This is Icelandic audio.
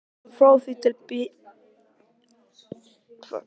Íslandi, frá því í tíð Bjarna Pálssonar landlæknis.